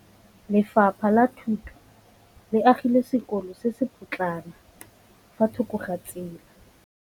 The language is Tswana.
Lefapha la Thuto le agile sekôlô se se pôtlana fa thoko ga tsela.